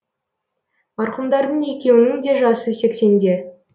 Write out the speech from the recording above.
марқұмдардың екеуінің де жасы сексенде